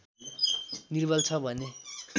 निर्बल छ भने